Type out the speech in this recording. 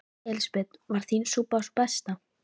Elísabet: Var þín súpa sú besta?